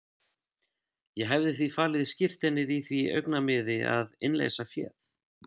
Ég hefði því falið skírteinið í því augnamiði að innleysa féð.